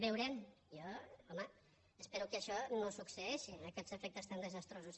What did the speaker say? veurem jo home espero que això no succeeixi aquests efectes tan desastrosos